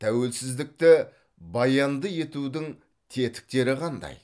тәуелсіздікті баянды етудің тетіктері қандай